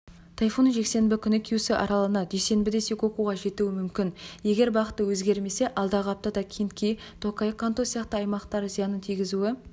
тайфун жексенбі күні кюсю аралына дүйсенбіде сикокуға жетуі мүмкін егер бағыты өзгермесе алдағы аптада кинки токай канто сияқты аймақтарға зиянын тигізуі